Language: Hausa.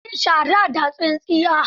Ta yi shara da tsintsiya.